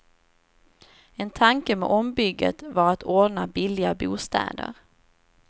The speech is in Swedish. En tanke med ombygget var att ordna billiga bostäder.